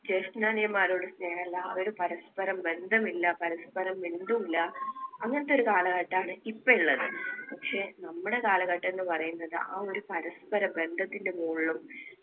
ജേഷ്ഠ-അനിയന്മാരോട് സ്നേഹമില്ല. അവര് പരസ്പരം ബന്ധമില്ല. പരസ്പരം മിണ്ടൂല. അങ്ങനത്തെ ഒരു കാലഘട്ടമാണ് ഇപ്പൊ ഉള്ളത്. പക്ഷേ നമ്മുടെ കാലഘട്ടം എന്ന് പറയുന്നത് ആ ഒരു പരസ്പര ബന്ധത്തിന്‍റെ മുകളിലും